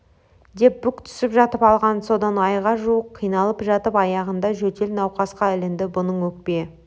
деп бүк түсіп жатып алған содан айға жуық қиналып жатып аяғында жөтел науқасқа ілінді бұның өкпе